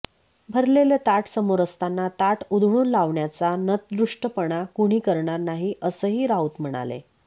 भरलेलं ताट समोर असताना ताट उधळून लावण्याचा नतदृष्टपणा कुणी करणार नाही असंही राऊत म्हणाले